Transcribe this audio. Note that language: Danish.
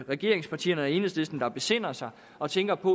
regeringspartierne og i enhedslisten der besinder sig og tænker på